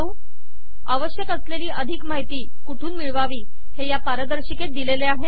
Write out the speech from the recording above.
अावश्यक असलेली अधिक माहिती कुठून मिळवावी हे या पारदर्शिकेत दिलेले आहे